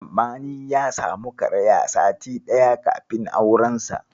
Sammani ya samu karaya sati ɗaya kafin aurensa.